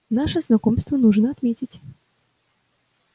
наше знакомство нужно отметить